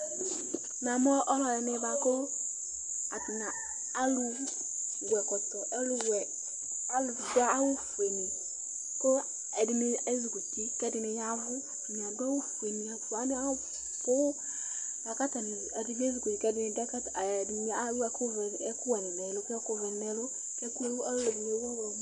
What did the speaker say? Namʋ alʋ ɛdɩnɩ Atanɩ adʋ ɛkɔtɔ nʋ awʋfue nɩ, kʋ ezikɔ uti, ɛdɩnɩ ya ɛvʋ Atanɩ abʋ poo Ɛdɩnɩ adʋ ɛkʋvɛ nʋ ɛkʋwɛ nɩ nʋ ɛlʋ